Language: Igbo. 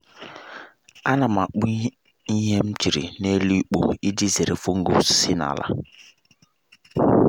a na m akpụ ihe m chịrị n’elu ikpo iji zere fungus si na’ala